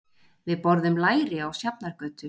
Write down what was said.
Við borðum læri á Sjafnargötu.